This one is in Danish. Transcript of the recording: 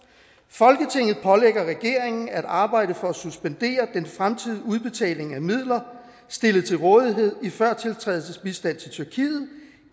folketinget pålægger regeringen at arbejde for at suspendere den fremtidige udbetaling af midler stillet til rådighed i førtiltrædelsesbistand til tyrkiet